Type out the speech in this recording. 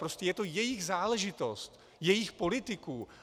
Prostě je to jejich záležitost, jejich politiků.